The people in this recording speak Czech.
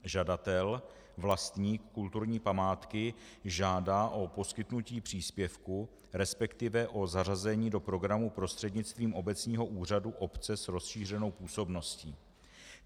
Žadatel - vlastník kulturní památky žádá o poskytnutí příspěvku, respektive o zařazení do programu prostřednictvím obecního úřadu obce s rozšířenou působností.